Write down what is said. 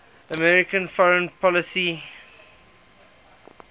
american foreign policy